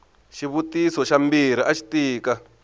xivutiso xa mbirhi axi tika